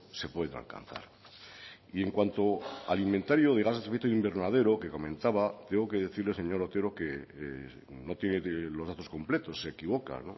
se pueden alcanzar y en cuanto al inventario de gases de efecto invernadero que comentaba tengo que decirle señor otero que no tiene los datos completos se equivoca